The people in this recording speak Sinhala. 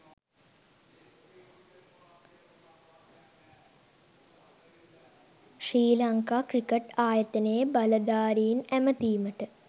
ශ්‍රී ලංකා ක්‍රිකට් ආයතනයේ බලධාරීන් ඇමතීමට